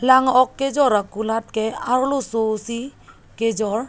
lang ok kejor akulat ke arloso si kejor.